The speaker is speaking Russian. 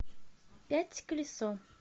пять колесо